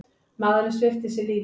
Maðurinn svipti sig svo lífi.